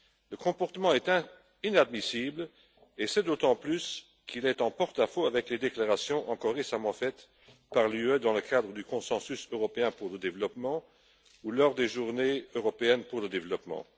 Ce comportement est inadmissible, et d'autant plus qu'il est en porte à faux avec les déclarations récentes de l'UE dans le cadre du consensus européen pour le développement, ou lors des journées européennes pour le développement.